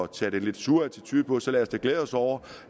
tager den lidt sure attitude på så lad os da glæde os over